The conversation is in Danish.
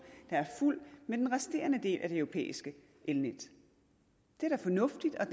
med den resterende del af det europæiske elnet det er da fornuftigt at